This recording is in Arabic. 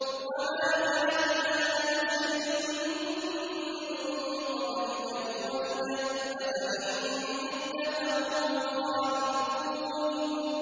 وَمَا جَعَلْنَا لِبَشَرٍ مِّن قَبْلِكَ الْخُلْدَ ۖ أَفَإِن مِّتَّ فَهُمُ الْخَالِدُونَ